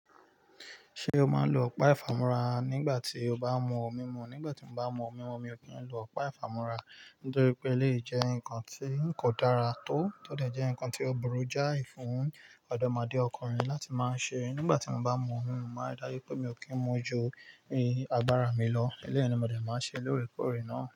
Ṣé o máa ń lo ọ̀pá ìfàmora nígbà tí o bá mú omi mú? Nígbà tí mo bá mú omi mú, mi ò kí ń lo ọ̀pá ìfàmúra nítorí pé lé jẹ́ nǹkan tí kò dára tó, tótẹ̀ jẹ́ nǹkan tí ó burú jáì fún ọ̀dọ́mọdékùnrin láti máa ń ṣe. Nígbà tí mo bá mú omi mú, máa dájú pé mi ò kí ń mú ju ìyè agbára mi lọ. Ẹ̀lèyì ni mo dé má nṣè lòòrẹ kòré ná.